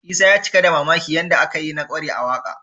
Isa ya cika da mamakin yadda aka yi na ƙware a waƙa